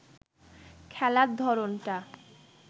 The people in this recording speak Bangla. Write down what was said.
খেলার ধরনটা